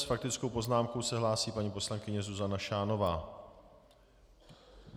S faktickou poznámkou se hlásí paní poslankyně Zuzana Šánová.